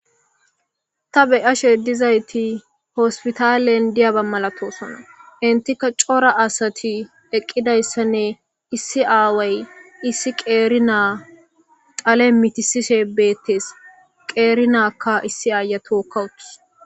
Ta beyashe dizayti hospitaalen diyaba malatosana intika cora asati eqqidayssanne issi aaway issi qeeri naa qale mitisise beettes qeeri naakka issi aaya tookkawuttus.